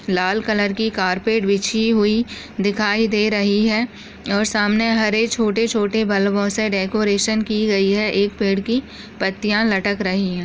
लाल colour की carpet बिछी हुई दिखाई दे रही है और सामने हरे छोटे छोटे बल्बों से डेकोरेशन की गयी है एक पेड़ की पत्तिया लटक रही है।